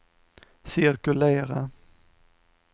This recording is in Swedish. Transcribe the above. cirkulera